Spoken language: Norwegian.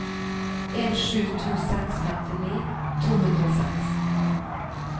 en sju to seks femtini to hundre og seks